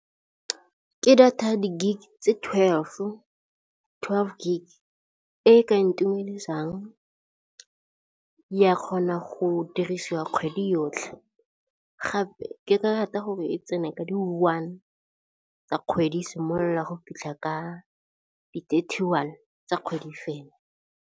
Ke data di gig tse twelve-o, twelve Gigs e ka ntumedisang ya kgona go dirisiwa kgwedi yotlhe gape ke ka rata gore tsene ka di one tsa kgwedi e simolola go fitlha ka di-thirty one tsa kgwedi e fela.